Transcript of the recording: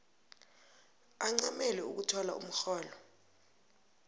ancamele ukuthola umrholo